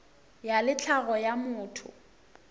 ya le tlhago ya motho